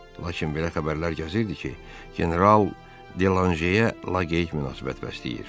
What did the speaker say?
Lakin belə xəbərlər gəzirdi ki, general Delaşeyə laqeyd münasibət bəsləyir.